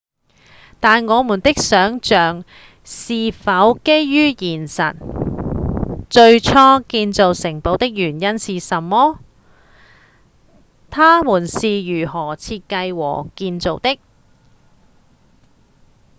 但我們的想像是否基於現實？最初建造城堡的原因是什麼？它們是如何設計和建造的？